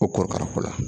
O korokara ko la